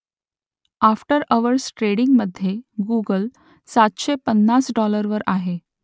after hours ट्रेडिंगमधे Google सातशे पन्नास डाॅलरवर आहे